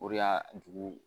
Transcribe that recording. O de y'a dugu